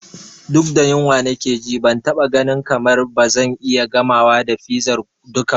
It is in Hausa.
Duk da yunwa nake ji, ban taɓa ganin kamar ba zan iya gamawa da fizar duka ba.